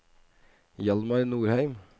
Hjalmar Nordheim